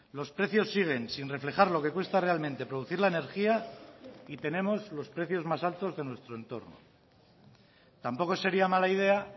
los precios siguen sin reflejar lo que cuesta realmente producir la energía y tenemos los precios más altos de nuestro entorno tampoco sería mala idea